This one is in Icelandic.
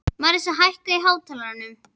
Mariska, hækkaðu í hátalaranum.